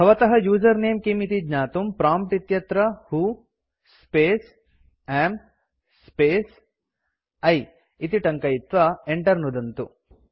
भवतः user name किम् इति ज्ञातुं प्रॉम्प्ट् इत्यत्र who space am space I इति टङ्कयित्वा enter नुदन्तु